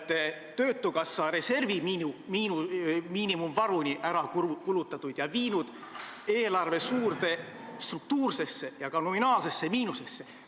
Te olete töötukassa reservid miinimumvaruni ära kulutanud ja viinud eelarve suurde struktuursesse ja nominaalsesse miinusesse.